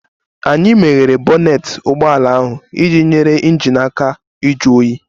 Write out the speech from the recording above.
Anyị meghere bonnet ụgbọ ala iji nyere injin ahụ aka ịjụ oyi